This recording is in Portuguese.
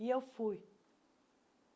E eu fui.